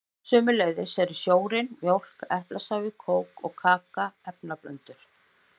Sömuleiðis eru sjórinn, mjólk, eplasafi, kók og kaka efnablöndur.